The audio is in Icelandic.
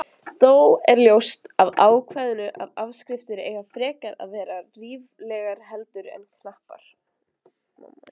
Þó er ljóst af ákvæðinu að afskriftir eiga frekar að vera ríflegar heldur en knappar.